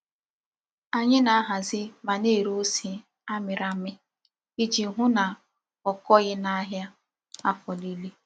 Anyi na-ahazi ma na-ere ose a miri ami, Iji hu na okoghi n'ahia afo nile.